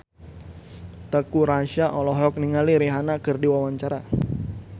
Teuku Rassya olohok ningali Rihanna keur diwawancara